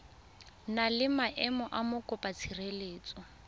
na le maemo a mokopatshireletso